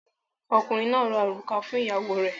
Ọkùnrin náà ra òrùka fún ìyàwó rẹ̀.